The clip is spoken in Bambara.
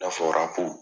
I n'a fɔra ko